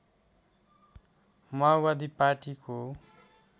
माओवादी पार्टीको